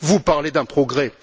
Vous parlez d'un progrès!